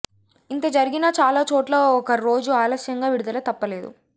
ఇంత జరిగినా చాలా చోట్ల ఒక రోజు ఆలస్యంగా విడుదల తప్పలేదు